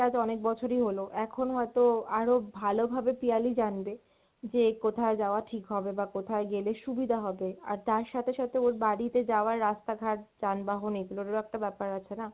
আজ অনেক বছরই হল, এখন হয়তো আরো ভালো ভাবে পিয়ালি জানবে, যে কোথায় যাওয়া ঠিক হবে বা কোথায় গেলে সুবিধা হবে, আর তার সাথে সাথে ওর বাড়িতে যাওয়ার রাস্তা ঘাট যানবহন এগুলোর ও তো একটা ব্যপার আছে না,